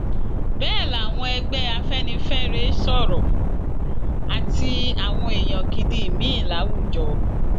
bẹẹ làwọn ẹgbẹ afẹnifẹre sọrọ àti àwọn èèyàn gidi míín láwùjọ